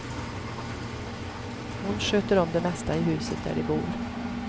Hon sköter om det mesta i huset där de bor.